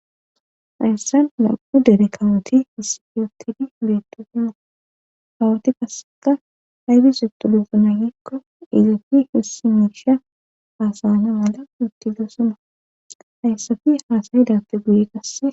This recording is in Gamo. Ayssan nam7u derekawuti hissifeyotidi beetosima hawoti kasseka hayfi suttu dufu naagikko izafi hissimesha haasana mala utti gesuma hayssafi haasayidappe guye kasse